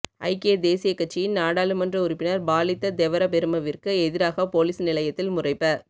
ஐக்கிய தேசிய கட்சியின் நாடாளுமன்ற உறுப்பினர் பாலித்த தெவரபெருமவிற்கு எதிராக பொலிஸ் நிலையத்தில் முறைப